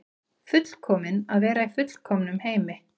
Fullkomin vera í fullkomnum heimi.